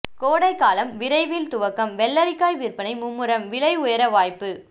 கோடைகாலம் விரைவில் துவக்கம் வெள்ளரிக்காய் விற்பனை மும்முரம் விலை உயர வாய்ப்பு